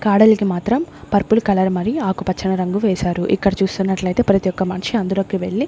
కాడలకి మాత్రం purple colour మరియు ఆకు పచ్చని రంగు వేసారు ఇక్కడ చూస్తున్నట్లయితే ప్రతి ఒక్క మనిషి అందులోకి వెళ్లి --